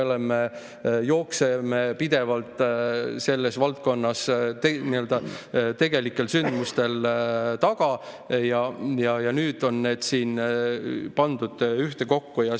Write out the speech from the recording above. Me jookseme pidevalt selles valdkonnas tegelikel sündmustel järel ja nüüd on need siin ühtekokku pandud.